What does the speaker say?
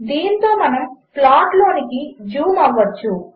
దీనితోమనముప్లాట్లోనికిజూంఅవగలము